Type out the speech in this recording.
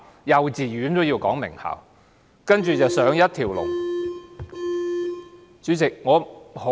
幼稚園都要入名校，然後"一條龍"直上大學。